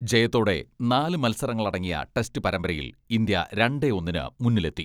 ജയത്തോടെ നാലു മത്സരങ്ങളടങ്ങിയ ടെസ്റ്റ് പരമ്പരയിൽ ഇന്ത്യ രണ്ടേ ഒന്നിന് മുന്നിലെത്തി.